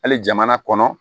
Hali jamana kɔnɔ